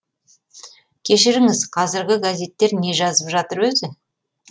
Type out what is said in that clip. кешіріңіз қазіргі газеттер не жазып жатыр өзі